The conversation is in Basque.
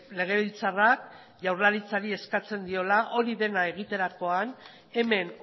legebiltzarrak jaurlaritzari eskatzen diola hori dena egiterakoan hemen